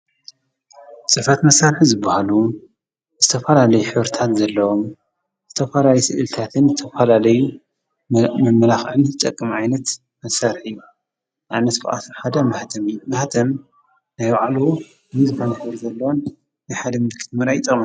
ፅሕፈት መሳርሒ ዝበሃሉ ዝተፈላለዩ ሕብሪታት ዘለዎም፤ ዝተፈላለዩ ስእሊታትን ዝተፈላለዩ መመላክዒን ዝጠቅም ዓይነት መሳርሒ እዩ፡፡ አብነት ካብአቶም ሓደ ማህተም እዩ፡፡ ማህተም ናይ ባዕሉ ፍሉይ ዝኮነ ሕብሪ ዘለዎን ናይ ሓደ ምልክት ምርአይ ይጠቅሙ፡፡